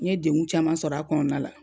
N ye dengun caman sɔrɔ a kɔnɔna la